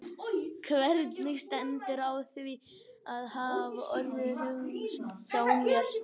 Hvernig stendur á því að þetta hafa orðið umhugsunarefni hjá mér?